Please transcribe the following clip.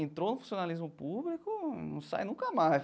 Entrou no funcionalismo público, não sai nunca mais.